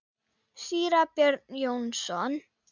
Síra Björn Jónsson